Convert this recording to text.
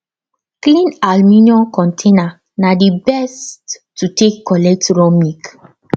clean aluminium container na the best to take collect raw milk